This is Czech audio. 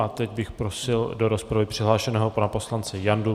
A teď bych prosil do rozpravy přihlášeného pana poslance Jandu.